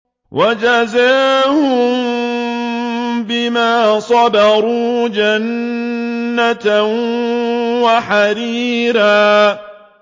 وَجَزَاهُم بِمَا صَبَرُوا جَنَّةً وَحَرِيرًا